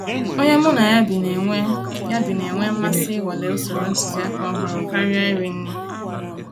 Ònyé mụ́ ná yá bí ná-ènwé yá bí ná-ènwé mmàsí ìnwàlé ụ̀sòrò ntụ̀zìàkà ọ̀hụ́rụ́ kàríà írì nrí.